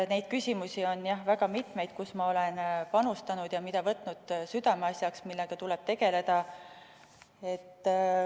Neid küsimusi on väga mitmeid, mida olen võtnud südameasjaks, sest nendega tuleb tegeleda.